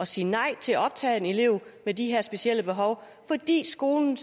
sige nej til at optage en elev med de her specielle behov fordi skolen